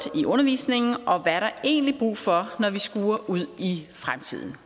i undervisningen og hvad er der egentlig brug for når vi skuer ud i fremtiden